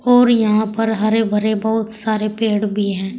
और यहां पर हरे भरे बहुत सारे पेड़ भी हैं।